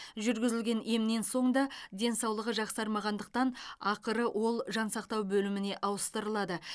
жүргізілген емнен соң да денсаулығы жақсармағандықтан ақыры ол жансақтау бөліміне ауыстырылады